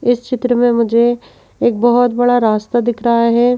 इस चित्र में मुझे एक बहुत बड़ा रास्ता दिख रहा है।